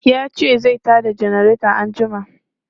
Ya ce zai ta da janareta anjima.